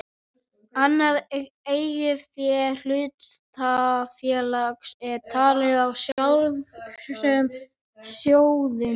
Annað eigið fé hlutafélags er talið í frjálsum sjóðum.